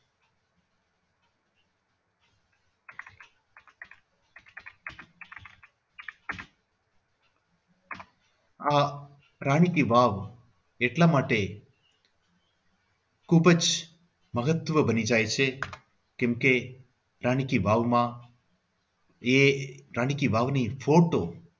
આ રાણી કી વાવ એટલા માટે ખૂબ જ મહત્વ બની જાય છે કેમકે રાણી કી વાવમાં એ રાણી કી વાવની ફોટો